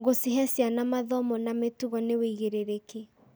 Gũcihe ciana mathomo ma mĩtugo nĩ wĩigĩrĩrĩki.